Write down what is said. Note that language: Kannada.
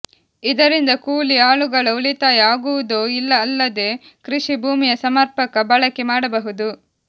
ಇದರಿಂದ ಕೂಲಿ ಆಳುಗಳ ಉಳಿತಾಯ ಆಗುವುದೂ ಅಲ್ಲದೇ ಕೃಷಿ ಭೂಮಿಯ ಸಮರ್ಪಕ ಬಳಕೆ ಮಾಡಬಹುದು